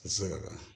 Sɔrɔ la